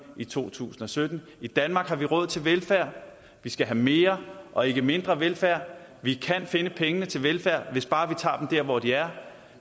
i to tusind og sytten i danmark har vi råd til velfærd vi skal have mere og ikke mindre velfærd vi kan finde pengene til velfærd hvis bare vi tager dem der hvor de er